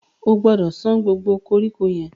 O gbọdọ̀ san gbogbo koríko yẹn.